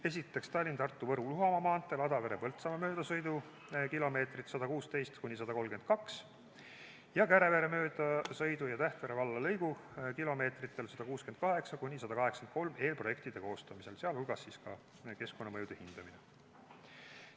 Esiteks, Tallinna–Tartu–Võru–Luhamaa maanteel Adavere–Põltsamaa möödasõidu kilomeetrid 116–132 ning Kärevere möödasõidu ja Tähtvere valla lõigu kilomeetritele 168–183 eelprojektide koostamisel, sh keskkonnamõjude hindamine.